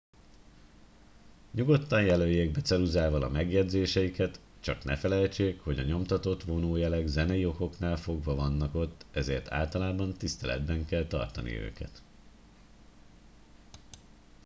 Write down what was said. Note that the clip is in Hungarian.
nyugodtan jelöljék be ceruzával a megjegyzéseiket csak ne felejtsék hogy a nyomtatott vonójelek zenei okoknál fogva vannak ott ezért általában tiszteletben kell tartani őket